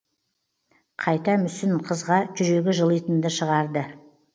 қайта мүсін қызға жүрегі жылитынды шығарды